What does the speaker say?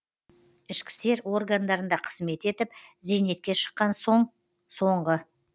ішкі істер органдарында қызмет етіп зейнетке шыққан соң соңғы